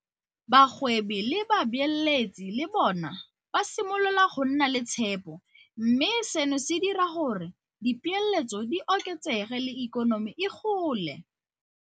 Bagwebi le babeeletsi le bona ba simolola go nna le tshepo, mme seno se dira gore dipeeletso di oketsege le ikonomi e gole.